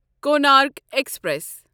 Konark express